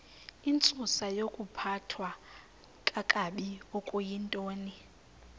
intsusayokuphathwa kakabi okuyintoni